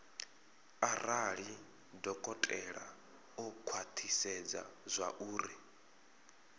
arali dokotela o khwathisedza zwauri